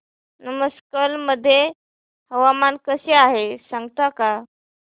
नमक्कल मध्ये हवामान कसे आहे सांगता का